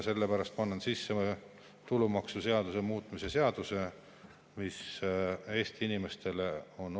Sellepärast ma annan sisse tulumaksuseaduse muutmise seaduse, mis on Eesti inimestele oluline.